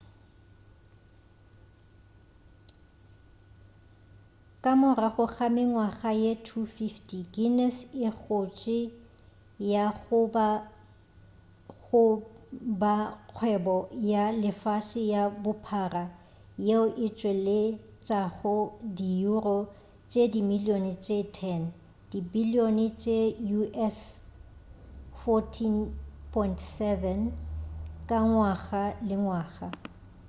ka morago ga mengwaga ye 250 guinness e gotše go ya go ba kgwebo ya lefase ka bophara yeo e tšweletšago di euro tše dimilion tše 10 dibilion tše us$14.7 ka ngwaga le ngwaga